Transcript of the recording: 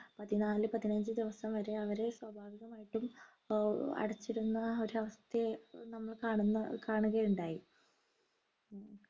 പതിനാല് പതിനഞ്ച് ദിവസം വരെ അവരെ സ്വാഭാവികമായിട്ടും ആഹ് അടച്ചിരുന്ന ഒരവസ്ഥയെ നമ്മൾ കാണുന്ന കാണുകയുണ്ടായി